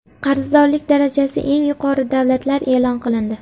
Qarzdorlik darajasi eng yuqori davlatlar e’lon qilindi.